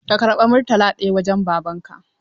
Ka karɓa Murtala ɗaya wajen Babanka!